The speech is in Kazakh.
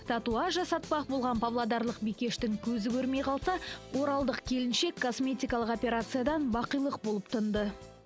татуаж жасатпақ болған павлодарлық бикештің көзі көрмей қалса оралдық келіншек косметикалық операциядан бақилық болып тынды